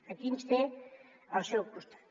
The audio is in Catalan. aquí ens té al seu costat